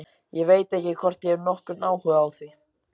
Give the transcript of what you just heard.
Ég veit ekki hvort ég hef nokkurn áhuga á því.